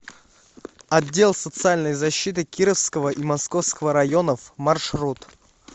отдел социальной защиты кировского и московского районов маршрут